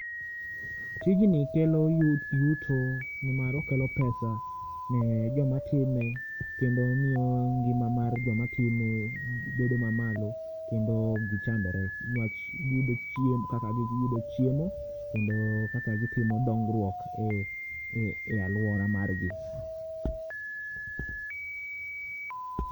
Tijni kelo yuto ni mar okelo[pesa ni joma time kendo omiyo gima mar joma time bedo ma malo kendo oki chandore ni wach gi yudo kaka chiemo kendo kaka gi timo dongruok e aluora mar gi.